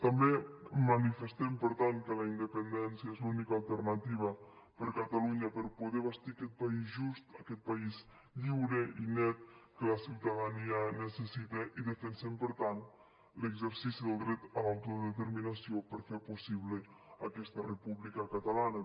també manifestem per tant que la independència és l’única alternativa per catalunya per poder bastir aquest país just aquest país lliure i net que la ciutadania necessita i defensem per tant l’exercici del dret a l’autodeterminació per fer possible aquesta república catalana